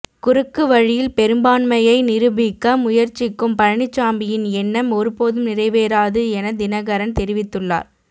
குறுக்கு வழியில் பெரும்பான்மையை நிரூபிக்க முயற்சிக்கும் பழனிச்சாமியின் எண்ணம் ஒருபோதும் நிறைவேறாது என தினகரன் தெரிவித்துள்ளார்